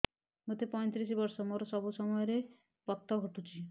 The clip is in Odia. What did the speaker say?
ମୋତେ ପଇଂତିରିଶ ବର୍ଷ ମୋର ସବୁ ସମୟରେ ପତ ଘଟୁଛି